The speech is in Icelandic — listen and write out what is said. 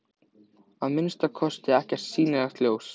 Að minnsta kosti ekkert sýnilegt ljós.